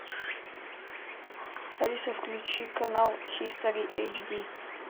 алиса включи канал хистори эйч ди